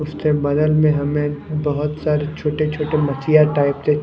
उसके बगल में हमें बहोत सारी छोटे छोटे मक्खियां टाइप के--